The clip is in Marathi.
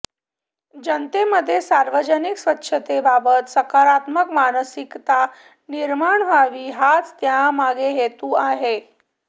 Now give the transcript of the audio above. जनतेमध्ये सार्वजनिक स्वच्छतेबाबत सकारात्मक मानसिकता निर्माण व्हावी हाच त्यामागे हेतू आहे